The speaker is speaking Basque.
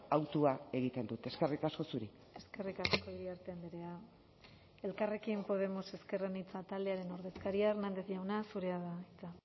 hautua egiten dut eskerrik asko zuri eskerrik asko iriarte andrea elkarrekin podemos ezker anitza taldearen ordezkaria hernández jauna zurea da hitza